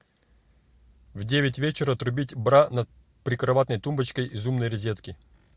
в девять вечера отрубить бра над прикроватной тумбочкой из умной розетки